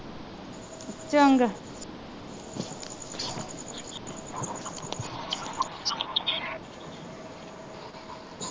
ਚੰਗਾ